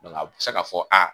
a bɛ se ka fɔ aa